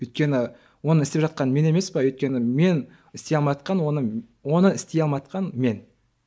өйткені оны істеп жатқан мен емес пе өйткені мен істей алмайатқан оны оны істей алмайатқан мен